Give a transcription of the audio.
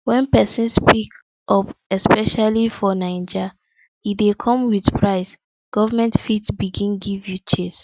when person speak up especially for naija e dey come with price government fit begin give you chase